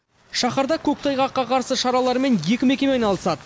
шаһарда көктайғаққа қарсы шаралармен екі мекеме айналысады